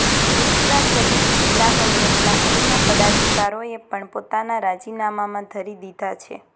મિશ્રા સહીત જીલ્લા કોંગ્રેસના અન્ય પદાધિકારીઓએ પણ પોતાના રાજીનામાં ધરી દીધા છે